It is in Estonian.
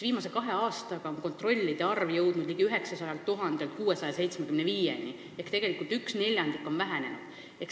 Viimase kahe aastaga on kontrollide arv langenud ligi 900 000-lt 675 000-le ehk tegelikult neljandiku võrra vähenenud.